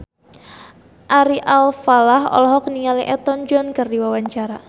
Ari Alfalah olohok ningali Elton John keur diwawancara